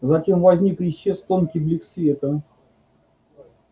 затем возник и исчез тонкий блик света